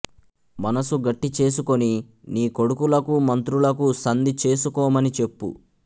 మనసు గట్టిచేసుకొని నీ కొడుకులకు మంత్రులకు సంధి చేసుకోమని చెప్పు